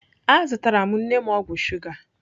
Azụtara m nne m ọgwụ shuga.